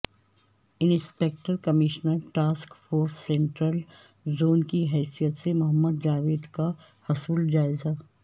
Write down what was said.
inspector commissioner task force central zone کی حیثیت سے محمد جاوید کا حصول جائزہ